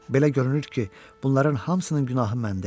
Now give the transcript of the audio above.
Belə görünür ki, bunların hamısının günahı məndə idi.